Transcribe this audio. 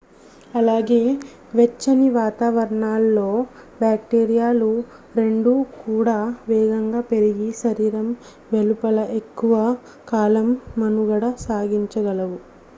అలాగే వెచ్చని వాతావరణాల్లో బ్యాక్టీరియా లు రెండూ కూడా వేగంగా పెరిగి శరీరం వెలుపల ఎక్కువ కాలం మనుగడ సాగించగలవు